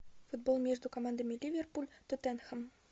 футбол между командами ливерпуль тоттенхэм